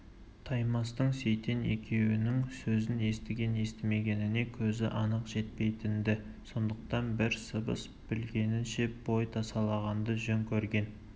таймастың сейтен екеуінің сөзін естіген-естімегеніне көзі анық жетпейтін-ді сондықтан бір сыбыс білінгенше бой тасалағанды жөн көрген